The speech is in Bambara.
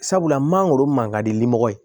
Sabula mangoro man ka di nimɔgɔ ye